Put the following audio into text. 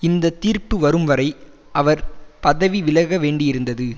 இந்த தீர்ப்பு வரும் வரை அவர் பதவி விலக வேண்டியிருந்தது